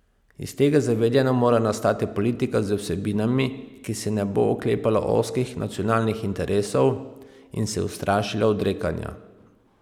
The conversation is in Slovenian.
Iz tega zavedanja mora nastati politika z vsebinami, ki se ne bo oklepala ozkih nacionalnih interesov in se ustrašila odrekanja.